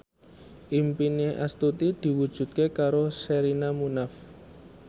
impine Astuti diwujudke karo Sherina Munaf